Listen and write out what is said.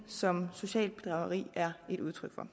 som socialt bedrageri er et udtryk for